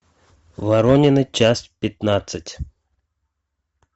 воронины часть пятнадцать